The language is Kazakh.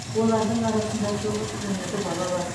олардың арасында тоғыз жүз он екі бала бар